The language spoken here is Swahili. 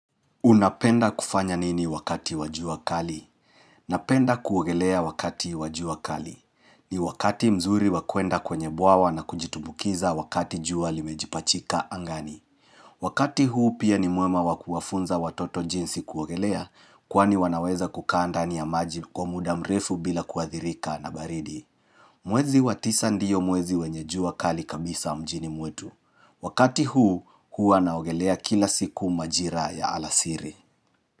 Unapenda kufanya nini wakati wa jua kali? Napenda kuogelea wakati wa jua kali. Ni wakati mzuri wa kwenda kwenye bwawa na kujitumbukiza wakati jua limejipachika angani. Wakati huu pia ni mwema wa kuwafunza watoto jinsi kuogelea kwani wanaweza kukaa ndani ya maji kwa muda mrefu bila kuathirika na baridi. Mwezi wa tisa ndiyo mwezi wenye jua kali kabisa mjini mwetu. Wakati huu, huwa naogelea kila siku majira ya alasiri.